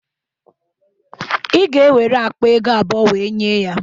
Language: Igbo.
Ị ga-ewere akpa ego abụọ wee nye ya